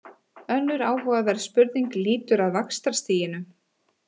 Önnur áhugaverð spurning lýtur að vaxtastiginu.